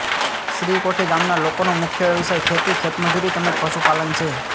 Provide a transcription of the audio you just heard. શ્રીકોઠી ગામના લોકોનો મુખ્ય વ્યવસાય ખેતી ખેતમજૂરી તેમ જ પશુપાલન છે